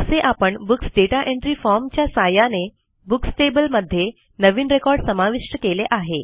असे आपण books data entry form च्या सहाय्याने बुक्स टेबल मध्ये नवीन रेकॉर्ड समाविष्ट केले आहे